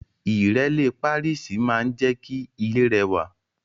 Ìrẹ́lé Pàríìsì maa n je ki ile rewa